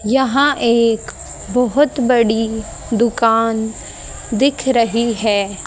यहां एक बहोत बड़ी दुकान दिख रही है।